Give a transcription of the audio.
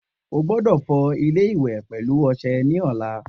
O gbódò fọ ilé iwè pèlú ọsẹ ní ọ̀la